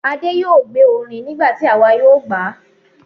Adé yóò gbé orin nígbà tí àwa yóò gbà á.